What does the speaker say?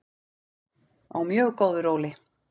Á mjög góðu róli.